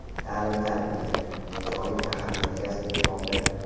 Ta’lim-tarbiya nechog‘lik ahamiyat kasb etmoqda?